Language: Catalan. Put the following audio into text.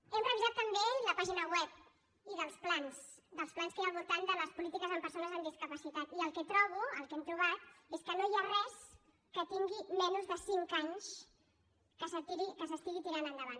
hem revisat també la pàgina web i dels plans dels plans que hi ha al voltant de les polítiques per a persones amb discapacitat i el que trobo el que hem trobat és que no hi ha res que tingui menys de cinc anys que s’estigui tirant endavant